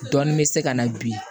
Dɔɔnin bɛ se ka na bi